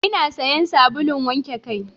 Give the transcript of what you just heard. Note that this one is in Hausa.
Ina sayan sabulun wanke kai.